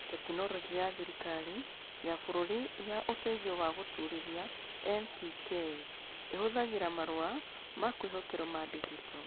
Tekinoronjĩ ya Thirikari ya Bũrũri ya Ũteithio wa Gũtũũrithia (NPKI) ĩhũthagĩra Marũa ma kwĩhokerũo m digito.